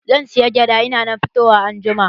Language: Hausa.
Zan saya gyada in na fita anjima.